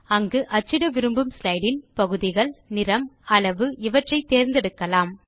இங்கு அச்சிட விரும்பும் ஸ்லைடு இன் பகுதிகள் நிறம் அளவு இவற்றை தேர்ந்தெடுக்கலாம்